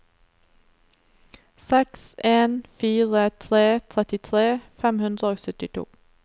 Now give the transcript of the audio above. seks en fire tre trettitre fem hundre og syttito